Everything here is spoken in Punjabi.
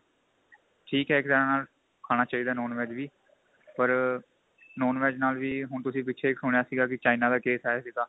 ਠੀਕ ਏ ਇੱਕ ਤਰ੍ਹਾਂ ਨਾਲ ਖਾਣਾ ਚਾਹੀਦਾ non VEG ਵੀ ਪਰ non VEG ਨਾਲ ਵੀ ਹੁਣ ਤੁਸੀਂ ਪਿਛੇ ਸੁਣਿਆ ਸੀ ਕੀ china ਦਾ ਕੇਸ ਆਇਆ ਸੀਗਾ